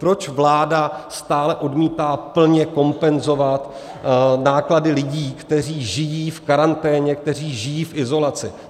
Proč vláda stále odmítá plně kompenzovat náklady lidí, kteří žijí v karanténě, kteří žijí v izolaci?